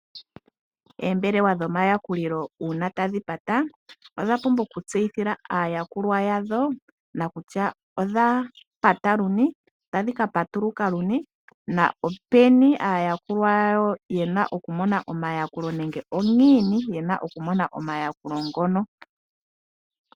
Oombelewa dho mayakulilo uuna tadhi pata ,odha pumbwa oku tseyithila aayakulwa yawo kutya, odha pata luni, otadhi ka patuluka uunake, na openi aayakulwa yawo yena oku mona omayakulo nenge ongiini yena oku mona omayakulo ngono.